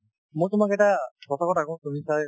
মই তোমাক এটা তুমি ছাগে